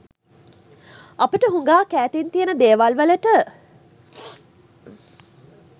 අපට හුඟාක් ඈතින් තියෙන දේවල් වලට